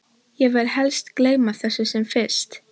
Ég vil helst gleyma þessu sem fyrst.